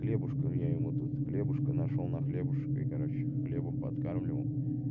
хлебушком я ему тут хлебушка нашёл на хлебушек и короче хлебом подкармливал